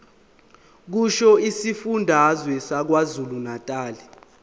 kusho isifundazwe sakwazulunatali